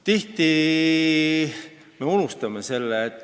Tihti me unustame selle.